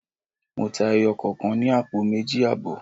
Mo ta ẹyọ kọ̀kan ní àpò méjì àbọ̀.